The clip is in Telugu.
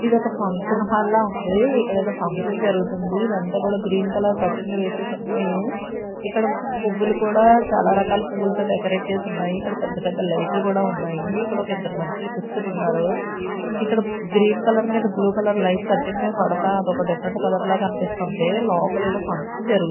ఇదొక ఫంక్షన్ హాల్ లా ఉంది ఇక్కడ ఏదో ఫంక్షన్ జరుగుతుంది ఇదంతా కూడా గ్రీన్ కలర్ కట్టిన్లు వేసేసి ఉన్నాయి ఇక్కడ పువ్వులు కూడా చాలా రకాల పువ్వులతో డెకరేట్ చేసి ఉన్నాయి ఇక్కడ పెద్ద పెద్ద లైట్లు కూడా ఉన్నాయి ఇక్కడ ఒక ఇద్దరు మనుషులు కూర్చుని ఉన్నారు ఇక్కడ గ్రీన్ కలర్ మీద బ్ల్యూ కలర్ లైట్ కట్టిన్ మీద పడతా అది ఒక డిఫరెంట్ కలర్ లా కనిపిస్తుంది లోపల ఏదో ఫంక్షన్ జరుగు--